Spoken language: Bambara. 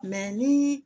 ni